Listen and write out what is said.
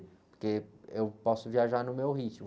Porque eu posso viajar no meu ritmo.